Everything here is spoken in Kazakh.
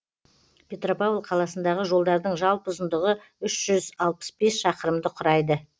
петропавл қаласындағы жолдардың жалпы ұзындығы үш жүз алпыс бес шақырымды құрайды